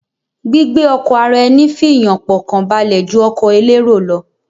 Gbígbé ọkọ̀ ara eni fì yàn pọ̀ kàn balẹ̀ ju ọkọ̀ elérò lọ